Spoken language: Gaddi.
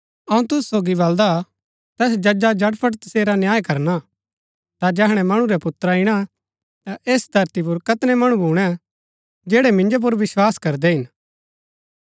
अऊँ तुसु सोगी बलदा तैस जजा झटफट तसेरा न्याय करणा ता जैहणै मणु रै पुत्रा ईणा ता ऐस धरती पुर कैतनै मणु भूणै जैड़ै मिन्जो पुर विस्वास करदै हिन